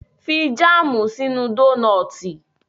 Fi jáàmù sínú dónọ́tì